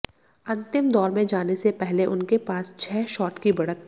अंतिम दौर में जाने से पहले उनके पास छह शॉट की बढ़त थी